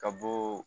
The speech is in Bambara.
Ka bɔ